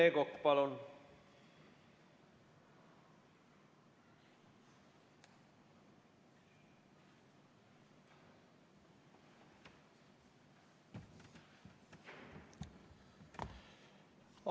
Rene Kokk, palun!